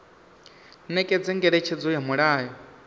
nekedza ngeletshedzo ya mulayo i